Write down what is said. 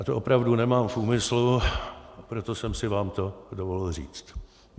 A to opravdu nemám v úmyslu, proto jsem si vám to dovolil říct.